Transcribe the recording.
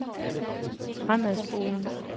fremadspoling